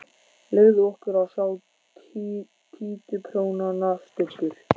Leyfðu okkur að sjá títuprjónana, Stubbur!